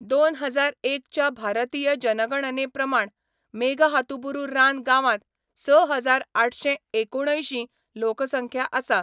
दोन हजार एक च्या भारतीय जनगणने प्रमाण मेघहातुबुरु रान गांवांत स हजार आठशें एकुणअंयशी लोकसंख्या आसा.